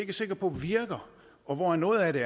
er sikre på virker og hvor noget af det